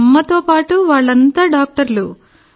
మా అమ్మతో పాటు వాళ్ళంతా డాక్టర్లు